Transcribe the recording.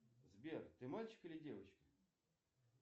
сбер ты мальчик или девочка